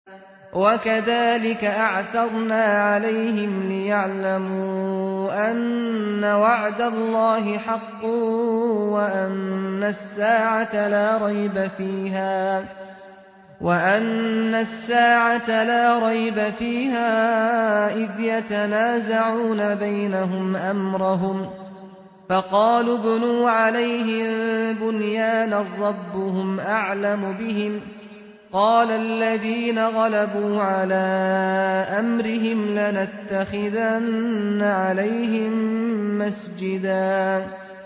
وَكَذَٰلِكَ أَعْثَرْنَا عَلَيْهِمْ لِيَعْلَمُوا أَنَّ وَعْدَ اللَّهِ حَقٌّ وَأَنَّ السَّاعَةَ لَا رَيْبَ فِيهَا إِذْ يَتَنَازَعُونَ بَيْنَهُمْ أَمْرَهُمْ ۖ فَقَالُوا ابْنُوا عَلَيْهِم بُنْيَانًا ۖ رَّبُّهُمْ أَعْلَمُ بِهِمْ ۚ قَالَ الَّذِينَ غَلَبُوا عَلَىٰ أَمْرِهِمْ لَنَتَّخِذَنَّ عَلَيْهِم مَّسْجِدًا